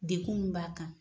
Dekun min b'a kan